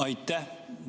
Aitäh!